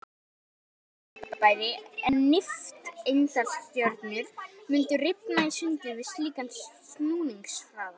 Nær öll önnur fyrirbæri en nifteindastjörnur mundu rifna í sundur við slíkan snúningshraða.